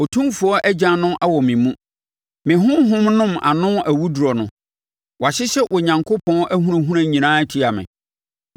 Otumfoɔ agyan no awɔ me mu, me honhom nom ano awuduro no; wɔahyehyɛ Onyankopɔn ahunahuna nyinaa atia me.